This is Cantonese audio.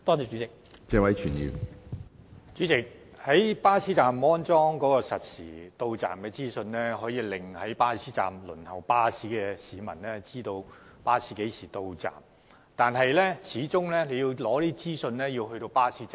主席，在巴士站安裝實時巴士到站資訊顯示屏，可讓身在巴士站輪候的市民知道巴士何時到站，但要取得這些資訊，始終必須身處巴士站。